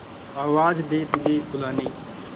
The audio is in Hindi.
आवाज दे तुझे बुलाने